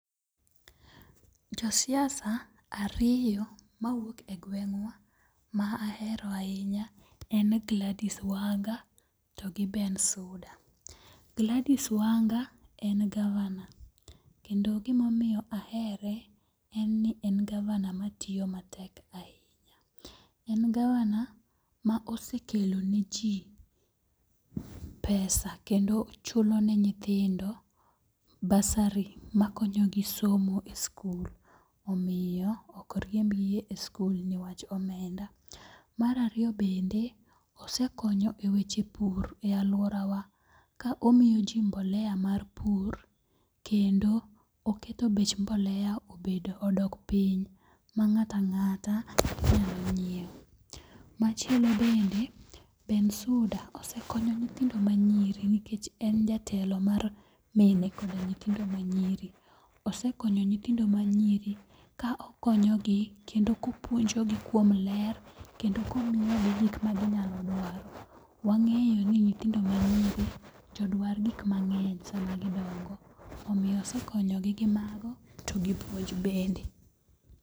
Josiasa ariyo mawuok e gweng'wa ma ahero ahinya en Gladys Wanga to gi Bensouda. Gladys Wanga en gavana, kendo gimamiyo ahere, en ni en gavana matiyo matek ahinya. En Gavana ma osekelo ne ji pesa kendo chulo ne nyithindo bursary makonyogi somo e skul omiyo ok riembgi e skul niwach omenda. Mar ariyo bende, osekonyo e weche pur e alworawa ka omiyo ji mbolea mar pur, kendo oketo bech mbolea odok piny ma ng'ato ang'ata nyalo nyiewo. Machielo bende Bensouda osekonyo nyithindo manyiri nikech en jatelo mar mine koda nyithindo manyiri. Osekonyo nyithindo manyiri ka okonyogi kendo kopuonjogi kuom ler kendo komiyogi gik maginyalo dwaro. Wang'eyo ni nyithindo manyiri jodwar gik mang'eny sama gidongo. Omiyo osekonyogi gi mago to gi puonj bende.